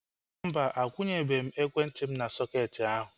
Mba, akwunyebe m ekwentị m n'sọketi ahu